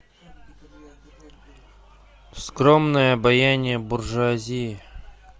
скромное обаяние буржуазии